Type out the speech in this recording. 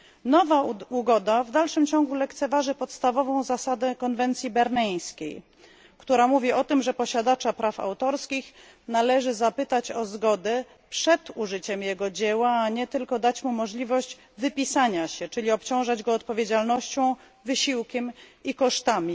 Nowa ugoda w dalszym ciągu lekceważy podstawową zasadę konwencji berneńskiej, która mówi o tym, że posiadacza praw autorskich należy zapytać o zgodę przed użyciem jego dzieła, a nie tylko dać mu możliwość wypisania się, czyli obciążać go odpowiedzialnością, wysiłkiem i kosztami.